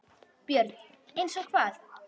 BJÖRN: Eins og hvað?